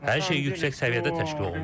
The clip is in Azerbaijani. Hər şey yüksək səviyyədə təşkil olunub.